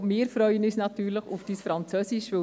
Auch wir freuen uns natürlich auf Ihr Französisch.